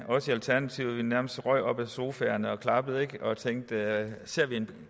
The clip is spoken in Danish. alternativet nærmest røg op af sofaerne og klappede og tænkte ser vi en